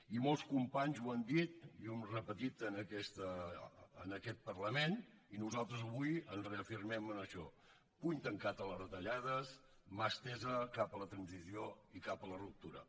i molts companys ho han dit i ho hem repetit en aquest parlament i nosaltres avui ens reafirmem en això puny tancat a les retallades mà estesa cap a la transició i cap a la ruptura